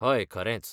हय खरेंच.